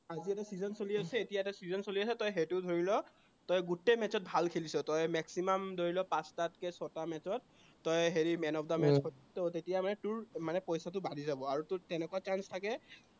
IPL ৰ season চলি আছে, এতিয়া এটা season চলি আছে তই সেইটো ধৰি ল, তই গোটেই match ত ভাল খেলিছ, তই maximum ধৰি ল পাঁচটাতকে ছয়টা match ত তই হেৰি man of the match ৰ তেতিয়া মানে তোৰ পইচাটো বাঢ়ি যাব আৰু তোৰ তেনেকুৱা chance থাকে